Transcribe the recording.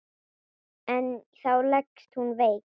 En þá leggst hún veik.